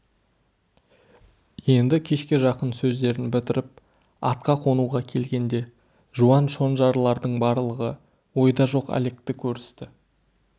енді кешке жақын сөздерін бітіріп атқа қонуға келгенде жуан шонжарлардың барлығы ойда жоқ әлекті көрісті